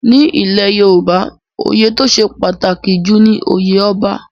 Ní ilẹ̀ Yorùbá, oyè tó ṣe pàtàkì jù ni oyè Ọba.